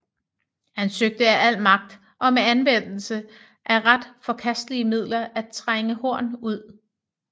Han søgte af al magt og med anvendelse af ret forkastelige midler at trænge Horn ud